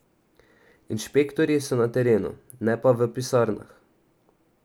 Inšpektorji so na terenu, ne pa v pisarnah.